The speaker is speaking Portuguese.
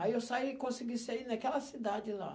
Aí, eu saí e consegui sair naquela cidade lá.